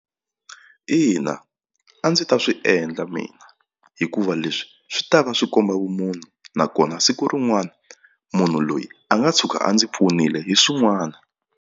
Ina a ndzi ta swi endla mina hikuva leswi swi ta va swi komba vumunhu nakona siku rin'wana munhu loyi a nga tshuka a ndzi pfunile hi swin'wana.